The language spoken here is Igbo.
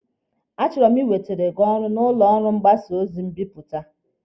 A chọrọ m inwetere gị ọrụ na ụlọ ọrụ mgbasa ozi mbipụta.